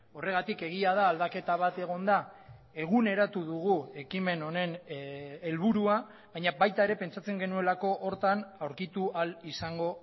horregatik egia da aldaketa bat egon da eguneratu dugu ekimen honen helburua baina baita ere pentsatzen genuelako horretan aurkitu ahal izango